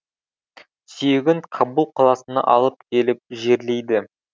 сүйегін кабул қаласына алып келіп жерлейді